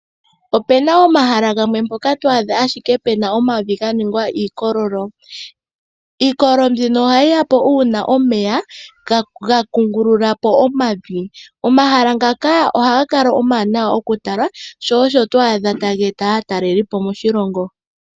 Opu na omahala gamwe mpoko ho adha owala puna omavi ganingwa ike iikololo. Iikololo mbino ohayi ya po uuna omeya gakungululapo omavi . Omahala ngaka ohaga kala omawanawa oku tala sho osho to adha taga eta aatalelipo moshilongo.